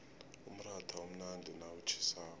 umratha umnandi nawutjhisako